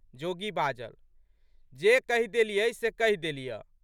जोगी बाजल। "जे कहि देलियऽ से कहि देलियऽ।